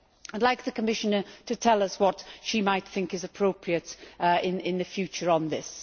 I would like the Commissioner to tell us what she might think is appropriate in the future on this.